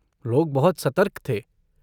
लोग बहुत सतर्क थे।